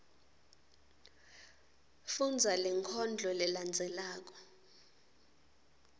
fundza lenkondlo lelandzelako